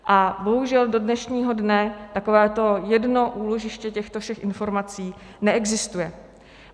A bohužel do dnešního dne takovéto jedno úložiště těchto všech informací neexistuje.